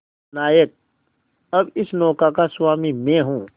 नायक अब इस नौका का स्वामी मैं हूं